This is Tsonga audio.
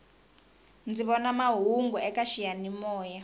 ndzi vona mahungu eka xiyani moya